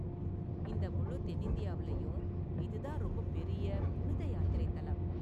இந்த முழு தென்னிந்தியாவுலயும் இது தான் ரொம்பப்பெரிய புனித யாத்திரை தலம்.